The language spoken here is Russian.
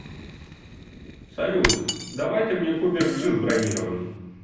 салют давай ты мне купишь джип бронированный